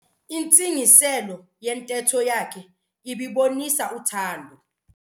Intsingiselo yentetho yakhe ibibonisa uthando.